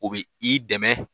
O bɛ i dɛmɛ